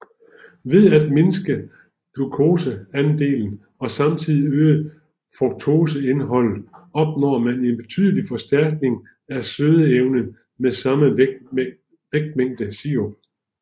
Ved at mindske glukoseandelen og samtidig øge fruktoseindholdet opnår man en betydelig forstærkning af sødeevnen med samme vægtmængde sirup